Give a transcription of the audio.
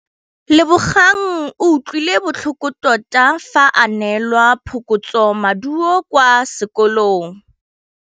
Lebogang o utlwile botlhoko tota fa a neelwa phokotsômaduô kwa sekolong.